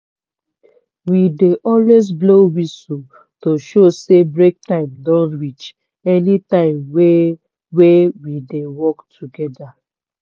we dey always blow whistle to show say break time don reach anytime wey wey we dey work togeda.